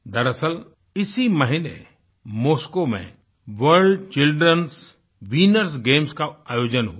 दरअसल इसी महीने मोस्को में वर्ल्ड childrenएस विनर्स गेम्स का आयोजन हुआ